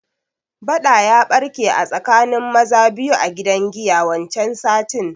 Baɗa ya barke a tsakanin maza biyu a gidan giya wancan satin